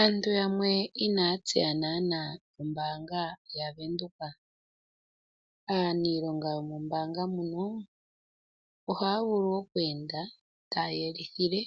Aantu yamwe ina ya tseya nana oombanga yaWindhoek. Aaniilonga yo mombaanga muno, oha ya vulu oku enda taya yelithile